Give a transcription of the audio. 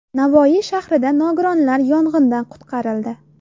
Navoiy shahrida nogironlar yong‘indan qutqarildi.